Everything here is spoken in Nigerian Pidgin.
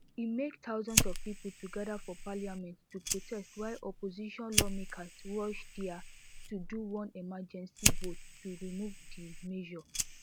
e make thousands of people to gather for parliament to protest while opposition lawmakers rush dia to do one emergency vote to remove di measure